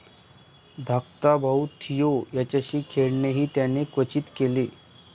धाकटा भाऊ थिओ याच्याशी खेळणेही त्याने क्वचित केले.